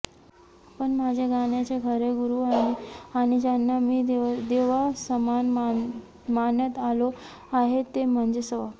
पण माझे गाण्याचे खरे गुरू आणि ज्यांना मी देवासमान मानत आलो आहे ते म्हणजे स्व